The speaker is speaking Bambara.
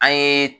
An ye